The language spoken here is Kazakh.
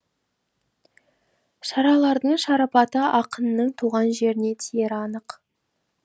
шаралардың шарапаты ақынның туған жеріне тиері анық